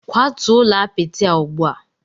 Kwatuo ụlọ apịtị a ugbu a!